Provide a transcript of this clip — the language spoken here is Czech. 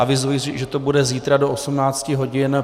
Avizuji, že to bude zítra do 18.00 hodin.